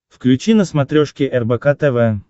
включи на смотрешке рбк тв